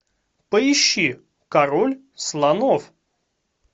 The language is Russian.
поищи король слонов